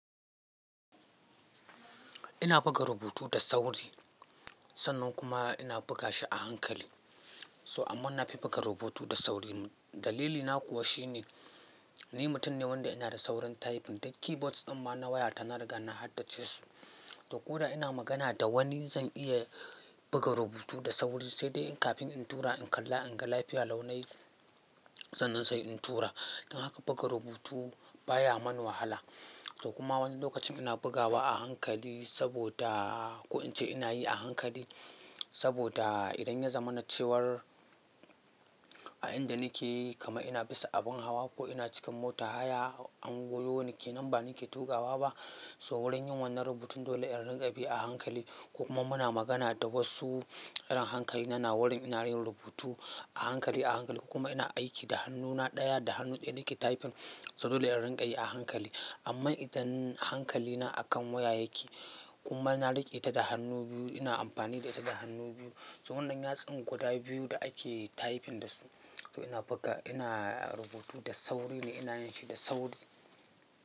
Ina buga rubutu da sauri sannan kuma ina buga shi a hankali. So amma na fi buga rubutu da sauri. Dalilina kuwa shi ne ni mutum ne wanda ina da saurin typing. Da keyboards ɗin ma na waya ta na riga na haddace su. To koda ina magana da wani zan iya buga rubutu da sauri sai dai kafin in tura in kalla in ga lafiya lau nayi sannan sai in tura. Don haka buga rubutu baya mun wahala. To kuma wani lokacin ina bugawa a hankali saboda ko in ce ina yi a hankali saboda idan ya zama na cewar a inda nake kaman ina bisa abin hawa ko ina cikin mota haya an goyo nike nan ba nake tukawa ba. So wurin yin wannan rubutun dole in rinka bi a hankali. Ko kuma muna magana da wasu ran hankali na na wurin ina yin rubutu a hankali a hankali ko kuma ina aiki da hannuna ɗaya da hannu ɗaya nake typing. So dole in rika yi a hankali. Amma idan hankali na akan waya yake kuma na riƙe ta da hannu biyu ina amfani da ita da hannu biyu. So wannan yatsun guda biyu da ake typing dasu. To ina buga ina rubutu da sauri ne ina yin shi da sauri.